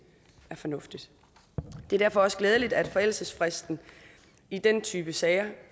er fornuftigt det er derfor også glædeligt at forældelsesfristen i den type sager